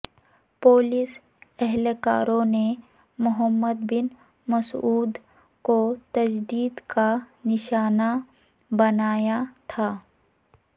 police اہلکاروں نے محمد بن مسعود کو تشدد کا نشانہ بنایا تھا